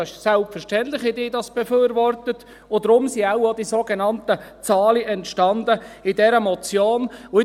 Es ist selbstverständlich, haben diese das befürwortet, und deshalb sind wohl auch die sogenannten Zahlen in dieser Motion entstanden.